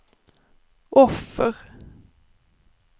offer